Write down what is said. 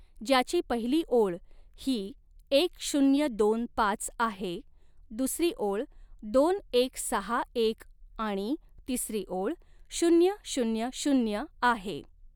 ज्याची पहिली ओळ ही एक शून्य दोन पाच आहे दुसरी ओळ दोन एक सहा एक आणि तिसरी ऒळ शून्य शून्य शून्य आहे.